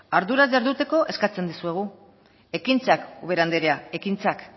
arduraz jarduteko eskatzen dizuegu ekintzak ubera anderea ekintzak